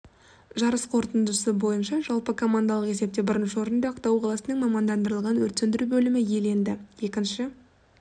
жарыс қорытындысы бойынша жалпы командалық есепте бірінші орынды ақтау қаласының мамандандырылған өрт сөндіру бөлімі иеленді екінші